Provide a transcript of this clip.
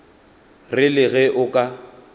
re le ge o ka